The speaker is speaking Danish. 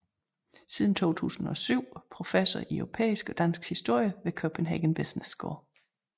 Siden 2007 professor i europæisk og dansk historie ved Copenhagen Business School